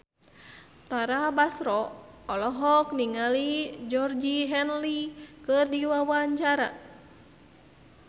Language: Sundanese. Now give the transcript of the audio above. Tara Basro olohok ningali Georgie Henley keur diwawancara